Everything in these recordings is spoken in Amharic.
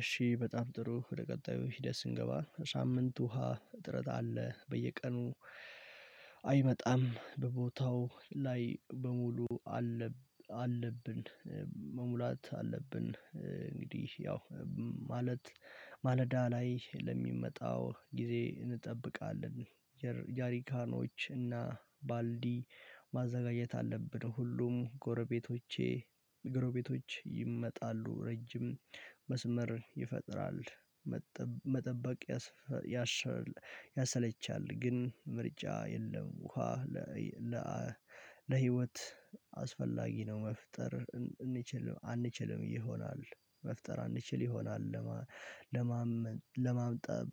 እሺ በጣም ጥሩ ወደ ቀጣዩ ሂደት ስንገባ ሳምንት ውሃ እጥረት አለ በየቀኑ አይመጣም በቦታው ላይ መሙላት አለብን መሙላት አለብን። እንግዲህ ያው ማለት ማለዳ ላይ ለሚመጣው ጊዜ እንጠብቃለን። ጀሪካኖች እና ባልዲ ማዘጋጀት አለብን ሁሉም ጎረቤቶቼ ጎረቤቶች ይመጣሉ ረጅም መስመር ይፈጥራል። መጠበቅ ያሰለቻል። ግን ምርጫ የለም ውሃ ለህይወት አስፈላጊ ነው። መፍጠር አንችልም ይሆናል መፍጠር እንችል ይሆናል። ለማጠብ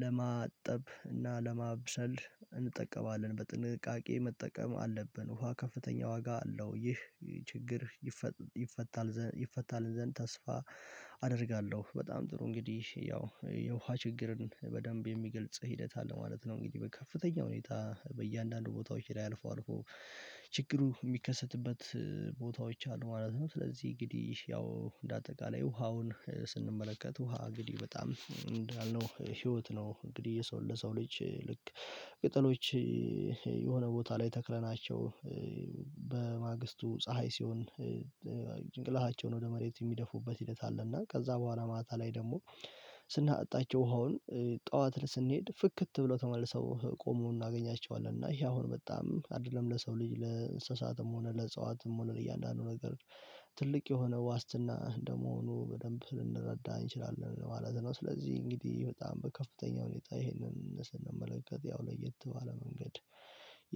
ለማጠብ እና ለማብሰል እንጠቀማለን በጥንቃቄ መጠቀም አለብን። ውሃ ከፍተኛ ዋጋ አለው። ይህ ችግር ይፈታል ይፈታልን ዘንድ ተስፋ አደርጋለሁ። በጣም ጥሩ እንግዲህ ያው የውሃ ችግርን በደንብ የሚገልጽ ሂደት አለ ማለት ነው። እንግዲህ ከፍተኛ ሁኔታ በእያንዳንዱ ቦታዎች ላይ አልፎ አልፎ ችግሩ እሚከሰትበት ቦታዎች አሉ። ማለትም ስለዚህ እንግዲህ ያው እንደ አጠቃላይ ውሃውን ስንመለከት ውሃ እንግዲህ በጣም እንዳልነው ህይወት ነው። እንግዲህ የሰው ለሰው ልጅ ልክ ቅጠሎች የሆነ ቦታ ላይ ተክለናቸው በማግስቱ ፀሀይ ሲሆን ጭንቅላታቸውን ወደ መሬት እሚደፉበት ሂኒት አለ። እና ከዛ በኋላ ማታ ላይ ደግሞ ስናጣቸው ውሃውን ጠዋት ስንሄድ ፍክት ብሎ ተመልሰው ቆሞ እናገኛቸዋለን። እና ይሄ አሁን በጣም አይደለም ለሰው ልጅ ለእንስሳትም ሆነ ለእጽዋትም ሆነ ለእያንዳንዱ ነገር ትልቅ የሆነ ዋስትና እንደመሆኑ በደንብ ልንረዳ እንችላለን ማለት ነው። ስለዚህ እንግዲህ በጣም በከፍተኛ ሁኔታ ይሄንን ስንመለከት ያው ለየት ባለ መንገድ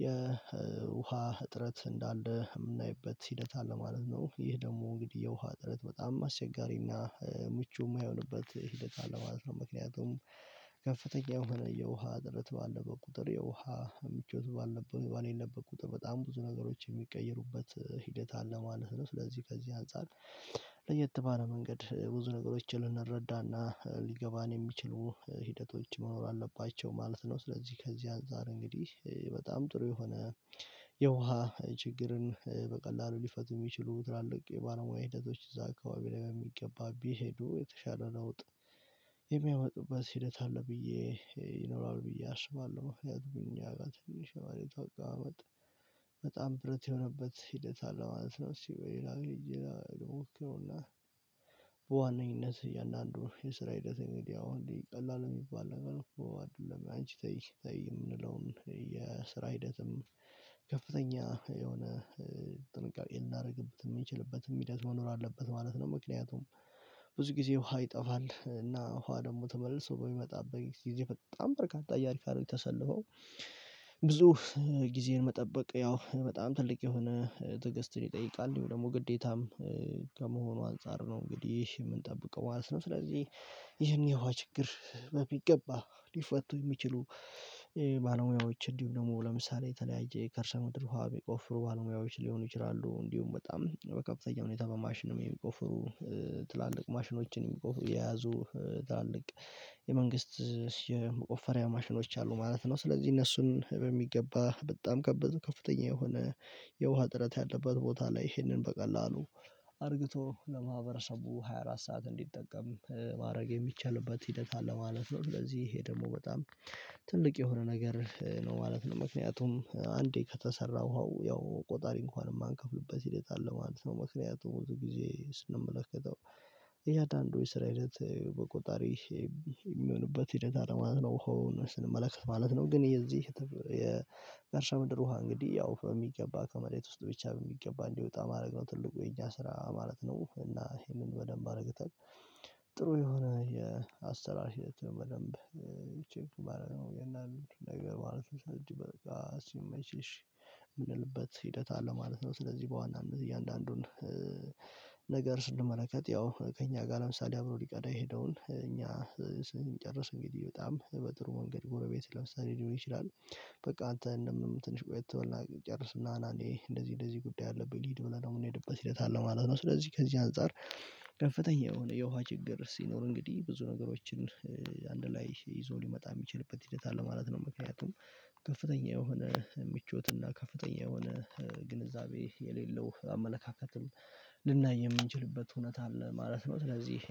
የውሃ እጥረት እንዳለ የምናይበት ሂደት አለ ማለት ነው። ይህ ደግሞ እንግዲህ የውሃ ጥረት በጣም አስቸጋሪና ምቹ የማይሆንበት ሂደት አለ ማለት ነው። ምክንያቱም ከፍተኛ የሆነ የውሃ ጥረት ባለበት ቁጥር የውሃ ምቾት ባልነበብኩ ባልነበብኩ ቁጥር በጣም ብዙ ነገሮች የሚቀየሩበት ሂደት አለ ማለት ነው። ስለዚህ ከዚህ አንፃር ለየት ባለ መንገድ ብዙ ነገሮችን ልንረዳና ሊገባን የሚችሉ ሂደቶች መኖር አለባቸው ማለት ነው። ስለዚህ ከዚህ አንፃር እንግዲህ በጣም ጥሩ የሆነ የውሃ ችግርን በቀላሉ ሊፈቱ እሚችሉ ትላልቅ የባለሙያ ሂደቶች እዛ አካባቢ ላይ በሚገባ ቢሄዱ የተሻለ ለውጥ የሚያመጡበት ሂደት አለ። ብዬ ይኖራል ብዬ አስባለሁ። ያድጉኝ ያጋጥኝ ማለት አቀመማመጥ በጣም ብረት የሆነበት ሂደት አለ ማለት ነው። እሺ በሌላ መሄድ ሞክረውና በዋነኝነት እያንዳንዱ የስራ ሂደት እንግዲህ አሁን ቀላል የሚባል አይደለም አንቺ ተይ ተይ የምንለውን የስራ ሂደትም ከፍተኛ የሆነ ጥንቃቄ ልናደርግበት የምንችልበትም ሂደት መኖር አለበት ማለት ነው። ምክንያቱም ብዙ ጊዜ ውሃ ይጠፋል እና ውሃ ደግሞ ተመልሶ በሚመጣበት ጊዜ በጣም በርካታ ወረፍ አይደለም የተሰለፈው። ብዙ ጊዜን መጠበቅ ያው በጣም ትልቅ የሆነ ትግስትን ይጠይቃል ይሄው ደግሞ ግዴታም ከመሆኑ አንፃር ነው። እንግዲህ የምንጠብቀው ማለት ነው። ስለዚህ ይኸን የውሃ ችግር በሚገባ ሊፈቱ የሚችሉ ባለሙያዎች እንዲሁም ደግሞ ለምሳሌ የተለያየ ከርሰ ምድር ውሃ የሚቆፍሩ ባለሙያዎች ሊሆኑ ይችላሉ። እንዲሁም በጣም በከፍተኛ ሁኔታ በማሽንም የሚቆፍሩ ትላልቅ ማሽኖችን የያዙ ትላልቅ የመንግስት የመቆፈሪያ ማሽኖች አሉ ማለት ነው። ስለዚህ እነሱን በሚገባ በጣም ከፍተኛ የሆነ የውሃ ጥረት ያለበት ቦታ ላይ ይህንን በቀላሉ አርግቶ ለማህበረሰቡ ሃያ አራት ሰዓት እንዲጠቀም ማድረግ የሚቻልበት ሂደት አለ ማለት ነው። ስለዚህ ይሄ ደግሞ በጣም ትልቅ የሆነ ነገር ነው ማለት ነው። ምክንያቱም አንዴ ከተሰራ ውሃው ያው ቆጣሪ እንኳን የማንከፍልበት ሂደት አለ ማለት ነው። ምክንያቱም ሁሉ ጊዜ ስንመለከተው ይሄ አዳንዶች ስራ አይነት በቆጣሪ የሚሆንበት ሂደት አለ ማለት ነው። ውሃው ስንመለከት ማለት ነው ግን የዚህ የእርሻ ምድር ውሃ እንግዲህ ያው የሚገባ ከመሬት ውስጥ ብቻ የሚገባ እንዲወጣ ማድረግ ነው ትልቁ የኛ ስራ ማለት ነው። እና ይሄንን በደንብ አደርገው ጥሩ የሆነ የአሰራር ማለት በደንብ ቼክ ሊስቱ ባደረግነው ይሄን አሉ ነገር ማለት ነው። እንጂ በቃ ሲመች እሺ የምንልበት ሂደት አለ ማለት ነው። ስለዚህ በዋና እያንዳንዱን ነገር ስንመለከት ያው ከእኛ ጋር ለምሳሌ አብሮ ሊቀዳ የሄደውን እኛ ስንጨርስ እንግዲህ በጣም በጥሩ መንገድ ጎረቤት ለምሳሌ ሊሆን ይችላል። በቃ አንተ እንደምንም ትንሽ ቆይተህ እና ጨርስና እኔ እንደዚህ እንደዚህ ጉዳይ አለብኝ ልሂድ ብለን ነው የምንሄድበት ሂደት አለ ማለት ነው። ስለዚህ ከዚህ አንፃር ከፍተኛ የሆነ የውሃ ችግር ሲኖር እንግዲህ ብዙ ነገሮችን አንድ ላይ ይዞ ሊመጣ የሚችልበት ሂደት አለ ማለት ነው። ምክንያቱም ከፍተኛ የሆነ ምቾት እና ከፍተኛ የሆነ ግንዛቤ የሌለው አመለካከትም ልናይ የምንችልበት እውነት አለ ማለት ነው። ስለዚህ